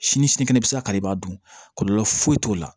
Sini sini kɛnɛ bi se ka kari i b'a dun kɔlɔlɔ foyi t'o la